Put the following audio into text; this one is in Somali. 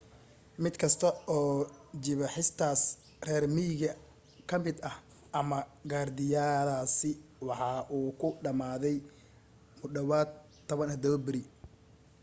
mid kasta oo jibaaxistaas reer miyiga ka mid ah ama gaardiyadaasi waxa uu ku dhamaaday mu dhawaad 17 beri